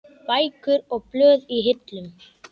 Bækur og blöð í hillum.